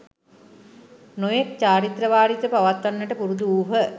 නොයෙක් චාරිත්‍ර වාරිත්‍ර පවත්වන්නට පුරුදු වූහ.